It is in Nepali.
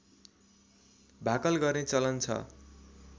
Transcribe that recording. भाकल गर्ने चलन छ